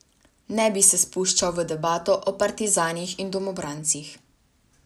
Ne bi se spuščal v debato o partizanih in domobrancih.